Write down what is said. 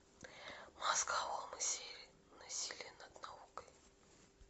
мозголомы серия насилие над наукой